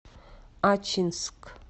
ачинск